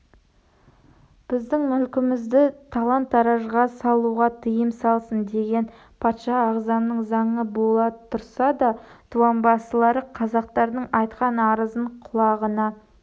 біздің мүлкімізді талан-таражға салуға тыйым болсын деген патша ағзамның заңы бола тұрса да дуанбасылары қазақтардың айтқан арызын құлағына